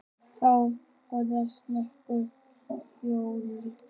Þá hófst nokkur fjölgun.